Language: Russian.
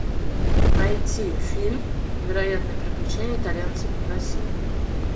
найти фильм невероятные приключения итальянцев в россии